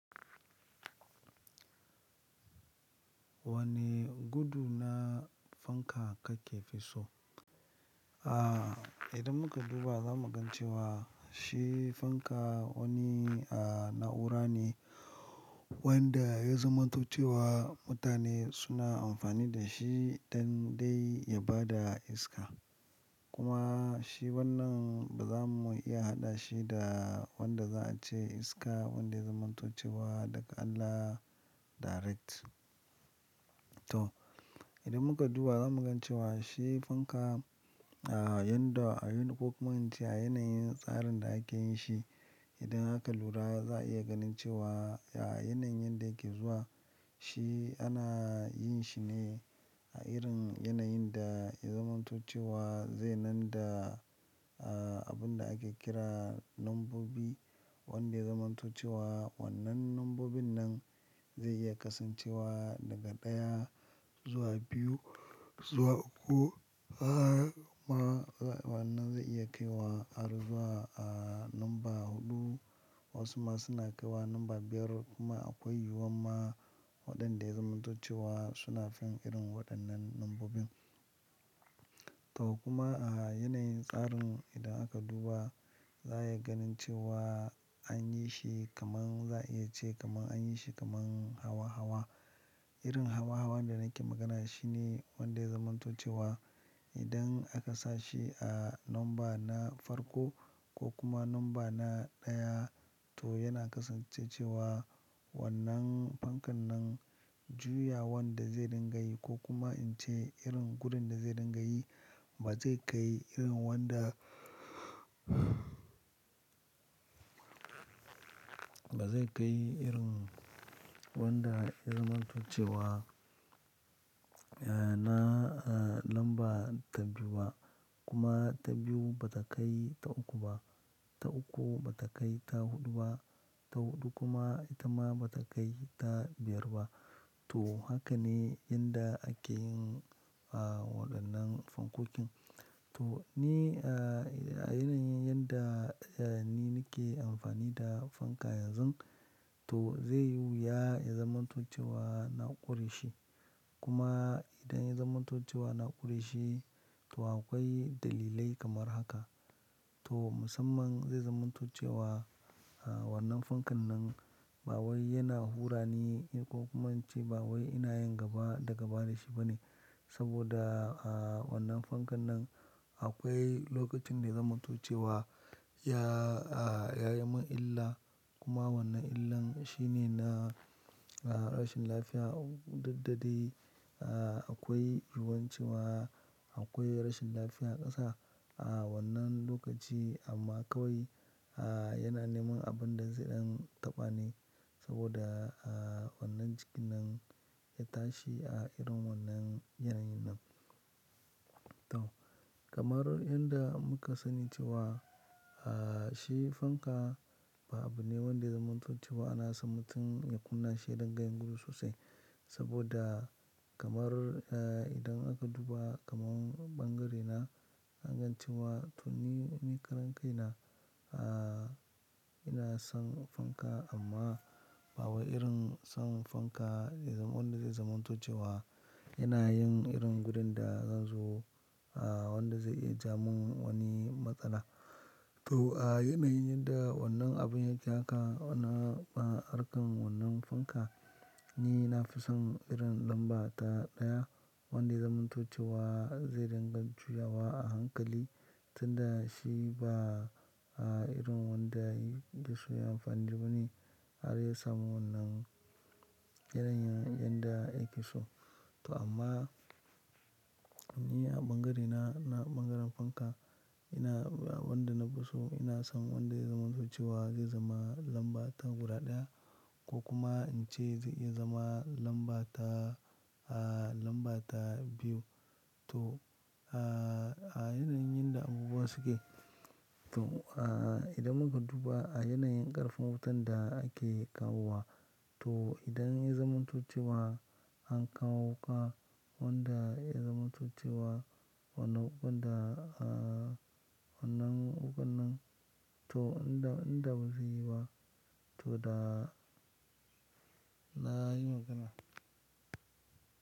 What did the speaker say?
Wane gudu na fanka kake fi so? Aaa, idan muka duba za mu gan cewa shi fanka wani, aaa, na'ura ne wanda ya zamanto cewa mutane suna amfani da shi dan dai ya bada iska. Kuma shi wannan ba za mu iya haɗa shi da wanda za a ce iska wanda ya zamanto cewa daga Allah direct. To, idan muka duba za mu gan cewa shi fanka, aaa, yanda a yin ko kuma ince a yanayin tsarin da ake yin shi, idan aka lura za a iya ganin cewa a yanayin yanda yake zuwa, shi ana yin shi ne a irin yanayin da ya zamanto cewa zai nan da, aaa, abun da ake kira nambobi wanda ya zamanto cewa wannan nambobin nan zai iya kasancewa daga ɗaya zuwa biyu zuwa uku. Haa kuma wannan zai iya kai wa har zuwa, aaa, namba huɗu wasu ma suna kaiwa namba biyar kuma akwai yiwuwan ma waɗanda ya zamanto cewa suna fin irin waɗannan nambobin. To kuma a yanayin tsarin idan aka duba, za a iya ganin cewa an yi shi kaman za a iya ce kaman an yi shi kaman hawa hawa. Irin hawa hawan da nake magana shi ne wanda ya zamanto cewa idan aka sa shi a nomba na farko ko kuma namba na ɗaya to yana kasance cewa wannan fankan nan juyawan da zai dinga yi ko kuma in ce irin gudun da zai dinga yi ba zai kai irin wanda, ba zai kai irin wanda ya zamanto cewa, eeeh, na, eeeh, namba ta biyu ba kuma ta biyu ba ta kai ta uku ba. Ta uku ba ta kai ta huɗu ba, ta huɗu kuma ita ma ba ta kai ta biyar ba. To, haka ne yanda ake yin, aaa, waɗannan fankokin. To, ni, eeeh, a yanayin yanda, eeeh, ni nake amfani da fanka yanzun, to zaiyi wuya ya zamanto cewa na ƙure shi. Kuma idan ya zamanto cewa na ƙure shi, to akwai dalilai kamar haka. To, musamman zai zamanto cewa, aaa, wannan fankan nan ba wai yana hura ni ko kuma in ce ba wai ina yin gaba da gaba da shi ba ne. Saboda, aaa, wannan fankan nan akwai lokacin da zamanto cewa ya, aaa, ya yi min illa kuma wannan illan shi ne na, aaa, rashin lafiya. Duk da dai, aaa, akwai ruwan cewa akwai rashin lafiya ƙasa a wannan lokaci amma kawai, aaa, yana neman abin da zai ɗan taɓa ni saboda, aaa, wannan jiki nan ya tashi a irin wannan yanayin nan. To, kamar yadda muka sani cewa, aaa, shi fanka ba abu ne wanda zamanto cewa ana son mutun ya kunna shi ya dinga yin gudu sosai. Saboda kamar, eeeh, idan aka duba kamar ɓangaren na, a gan cewa to ni, ni karan kai na, aaa, ina son fanka amma ba wai irin son fanka wanda zai zamanto cewa yana yin irin gudun da zan zo, aaa, wanda zai iya ja mun wani matsala. To, a yanayin yadda wannan abun ya yake haka, aaa, arkan wannan fanka ni na fi son irin lamba ta ɗaya wanda ya zamanto cewa zai dinga juyawa a hankali tunda shi ba, aaa, irin wanda ya iso ya yi amfani da wani har ya samu wannan yanayin yanda yake so. To amma ni a ɓangare na, na ɓangaren fanka ina wanda na fi so ina son wanda ya zamanto cewa zai zama lamba ta guda ɗaya ko kuma in ce zai iya zama lamba ta, aaa, lamba ta biyu. To, aaa, a yanayin yadda abubuwa suke, to, aaa, idan muka duba a yanayin ƙarfin wutan da ake kawo wa to idan ya zamanto cewa an kawo ƙwa wanda ya zamanto cewa wannan ukun da, aaa, wannan ukun nan to in da, in da ba zaiyi ba to da na yi magana.